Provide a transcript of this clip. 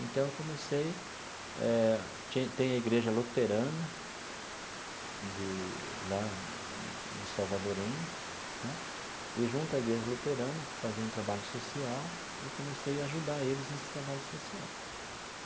Então, eu comecei eh ti tem a Igreja Luterana de, lá dos Salvadorenhos né, e junto à Igreja Luterana, que fazia um trabalho social, eu comecei a ajudar eles nesse trabalho social.